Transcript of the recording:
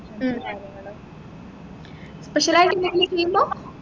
മ് special ആയിട്ട് എന്തെങ്കിലും ചെയ്യുമ്പോ